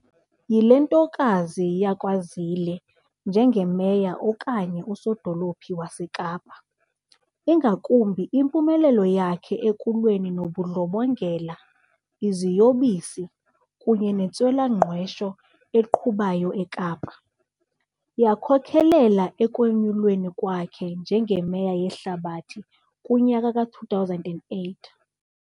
yile ntokazi ntokazi yakwaZille njengeMeya okanye uSodolophu waseKapa, ingakumbi impumelelo yakhe ekulweni nobundlobongela, iziyobisi, kunye nentswela-ngqesho egqubayo eKapa, yakhokhelela ekwenyulweni kwakhe njengeMeya yeHlabathi kunyaka ka2008.